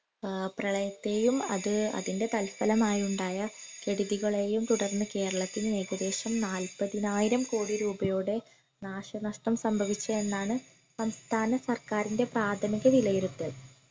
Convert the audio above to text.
ആഹ് പ്രളയത്തെയും അത് അതിന്റെ തൽഫലമായി ഉണ്ടായ കെടുതികളെയും തുടർന്ന് കേരളത്തിന് ഏകദേശം നാല്പതിനായിരം കോടി രൂപയുടെ നാശനഷ്ടം സംഭവിച്ചു എന്നാണ് സംസ്ഥാന സർക്കാരിൻറെ പ്രാഥമിക വിലയിരുത്തൽ